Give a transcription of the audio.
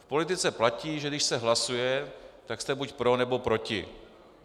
V politice platí, že když se hlasuje, tak jste buď pro, nebo proti.